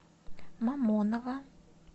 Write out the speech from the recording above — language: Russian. мамоново